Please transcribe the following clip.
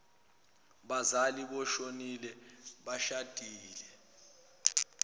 bazali boshonile beshadile